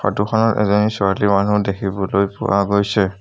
Photo খনত এজনী ছোৱালী মানুহ দেখিবলৈ পোৱা গৈছে।